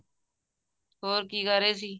ਹੋਰ ਕੀ ਕਰ ਰਹੇ ਸੀ